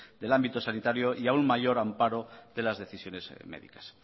del ámbito sanitario y aún mayor amparo de las decisiones médicas